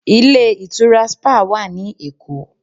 Ilé ìtura spa wà ní Èkó.